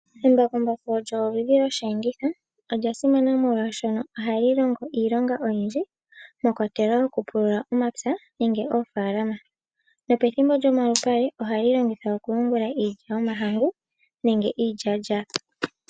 Embakumbaku olyo oludhi lwosheenditho. Olya simana, oshoka ohali longo iilonga oyindji mwa kwatelwa okupulula omapya noshowo oofaalama. Pethimbo lyomalupale ohali longithwa okuyungula iilya yomahangu nenge iilyaalyaaka.